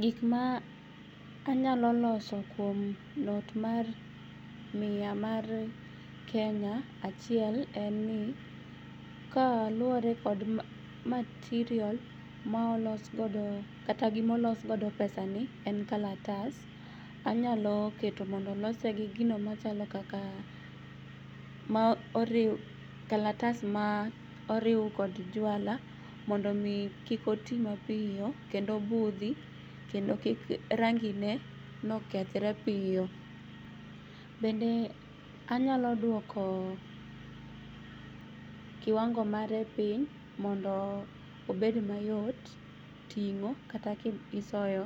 Gikma anyalo loso kuom not mar mia mar Kenya achiel en ni kaluore kod material maolosgodo kata gimaolosgodo pesani en kalatas. Anyalo keto mondo olose gi gino machalo kaka ma oriu, kalatas ma oriu kod juala mondo omii kik otii mapiyo kendo obudhi kendo kik rangineno kethre piyo. Bende anyalo duoko kiwango mare piny mondo obed mayot ting'o kata ka isoyo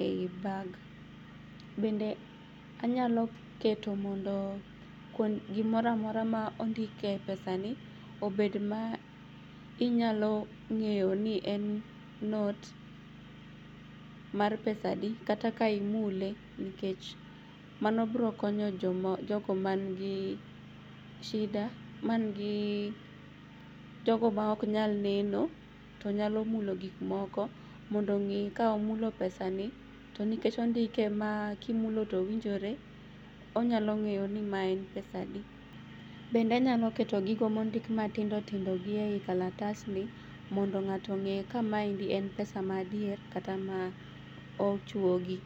ei bag. Bende anyaloketo mondo gimoramora ma ondike pesani obed maa inyalo ng'eyoni en not mar pesa adi kata ka imule nikech mano brokonyo jogo mangi shida mangi, jogo maoknyal neno tonyalo mulo gikmoko mondo ong'ii ka omulo pesani to nikech ondike maa kimulo towinjore onyalo ng'eyoni mae en pesa adi bende anyaloketo gigo mondik matindotindo gi eiekalatasni mondo ng'ato ong'e kama endi en pesa madier kata ma ochuogi.